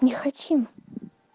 не хотим